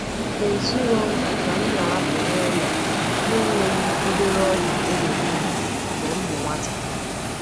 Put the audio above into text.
E zùrò m na m na-apụ n’ụlọ na-enweghị obere ogwù e nyere m mgbe m bụ nwata.